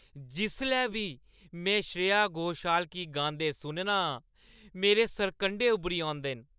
जिसलै बी में श्रेया घोषाल गी गांदे सुनना आं, मेरे सरकंढे उब्भरी औंदे न।